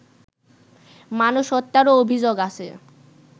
মানুষ হত্যারও অভিযোগ আছে